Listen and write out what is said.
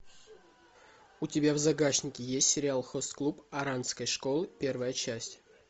у тебя в загашнике есть сериал хост клуб оранской школы первая часть